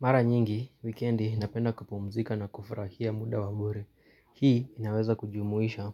Mara nyingi, wikendi napenda kupumzika na kufurahia muda wa bure. Hii inaweza kujumuisha